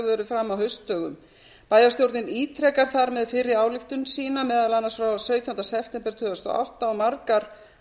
fram á haustdögum bæjarstjórnin ítrekar þar með fyrri ályktun sína meðal annars frá sautjánda september tvö þúsund og átta og margar